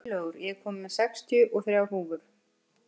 Friðlaugur, ég kom með sextíu og þrjár húfur!